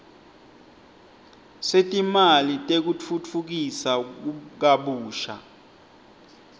setimali tekutfutfukisa kabusha